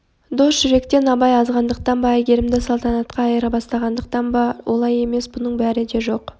дос жүректен абай азғандықтан ба әйгерімді салтанатқа айырбастағандықтан ба жоқ олай емес бұның бәрі де жоқ